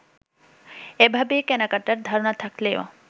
এভাবে কেনাকাটার ধারণা থাকলেও